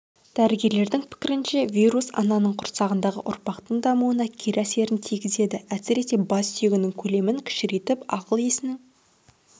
дәрігерлердің пікірінше вирус ананың құрсағындағы ұрықтың дамуына кері әсерін тигізеді әсіресе бас сүйегінің көлемін кішірейтіп ақыл-есінің